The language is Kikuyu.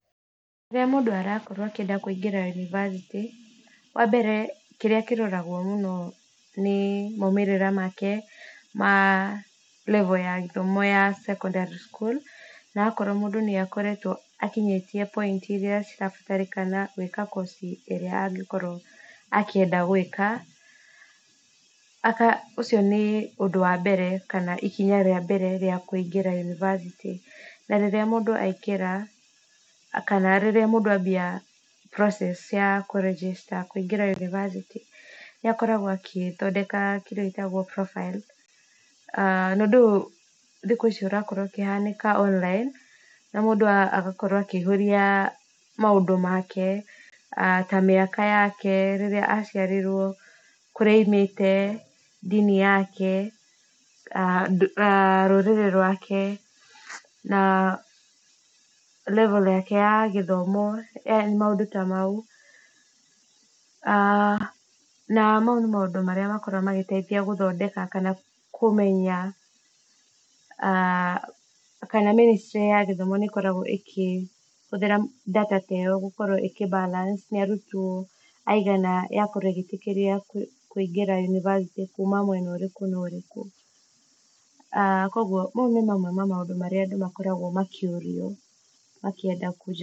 Rĩrĩa mũndũ arakorwo akĩenda kũingĩra yunivacĩtĩ , wa mbere kĩrĩa kĩroragwo mũno nĩ maumĩrĩra make ma level ya gĩthomo ya secondary schools, na akorwo mũndũ nĩ akoretwo akinyĩtie point iria cirabatarĩkana gwĩka kosi ĩrĩa angĩkorwo akĩenda gwĩka, aga ũcio nĩ ũndũ wa mbere , kana ikinya rĩa mbere rĩa kũingĩra yunivacĩtĩ, na rĩrĩa mũndũ aingĩra, kana rĩrĩa mũndũ ambia process ya kũ register ya gũthiĩ yunivacĩtĩ, nĩ akoragwo agĩthondeka kĩndũ gĩtagwo profile, a na ũndũ ũyũ thikũ ici ũrakorwo ũkĩhanĩka online ,na mũndũ agakorwo akĩihũria maũndũ make, ta mĩaka yake rĩrĩa aciarirwo, kũrĩa aimĩte, ndini yake , rũrĩrĩ rwake, na level yake ya gĩthomo yani maũndũ ta mau , na mau nĩmo maũndũ marĩa makoragwo magĩteithia gũthondeka kana kũmenya , kana ministry ya gĩthomo nĩ ĩkoragwo ĩkĩhũthĩra data ta ĩyo ĩgakorwo ĩkĩ balance nĩ arutwo aigana yakorwo ĩgĩ ĩtĩkĩria kũingĩra yunivacĩtĩ kuma mwena ũrĩkũ na ũrĩkũ , a kũgwo mau nĩ mamwe ma maũndũ marĩa andũ makoragwo makĩũrio makĩenda kũjo.